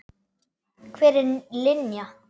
Hver er Linja?